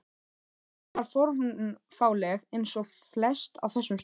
Bjallan var fornfáleg eins og flest á þessum stað.